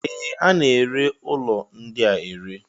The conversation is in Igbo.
Ee! A na-ere ụlọ ndị a ere.